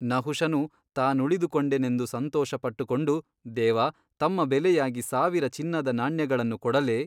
ನಹುಷನು ತಾನುಳಿದುಕೊಂಡೆನೆಂದು ಸಂತೊಷಪಟ್ಟುಕೊಂಡು ದೇವಾ ತಮ್ಮ ಬೆಲೆಯಾಗಿ ಸಾವಿರ ಚಿನ್ನದ ನಾಣ್ಯಗಳನ್ನು ಕೊಡಲೇ?